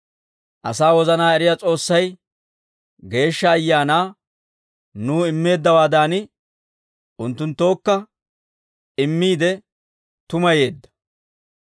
Asaa wozanaa eriyaa S'oossay Geeshsha Ayaanaa nuw immeeddawaadan, unttunttookka immiide tumayeedda.